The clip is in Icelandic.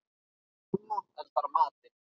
Amma eldar matinn.